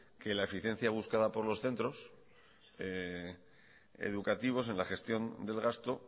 que la eficiencia buscada por los centros educativos en la gestión del gasto